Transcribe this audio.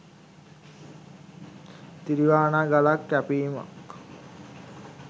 තිරිවානා ගලක් කැපීමක්